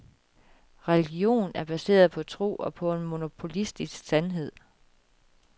Religion er baseret på tro og på en monopolistisk sandhed.